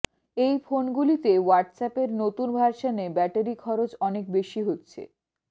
এই ফোনগুলিতে হোয়াটসঅ্যাপের নতুন ভার্সানে ব্যাটারি খরচ অনেক বেশি হচ্ছে